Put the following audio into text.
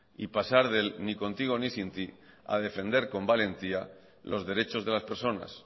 y pasar del ni contigo ni sin ti a defender con valentía los derechos de las personas